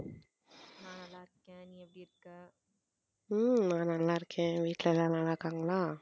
உம் நான் நல்லா இருக்கேன் வீட்ல எல்லாரும் நல்லா இருக்காங்களா?